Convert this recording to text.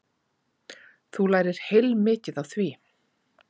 Þú lærir heilmikið á því.